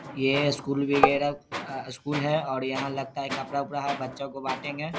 ये स्कूल बगेरा अ स्कूल है और यहाँ लगता है कपड़ा उपड़ा है बच्चों को बाटेंगे।